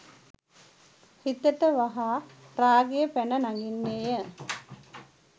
සිතට වහා රාගය පැන නගින්නේ ය.